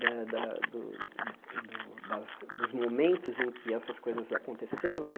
Eh da do do das dos momentos em que essas coisas aconteceram né.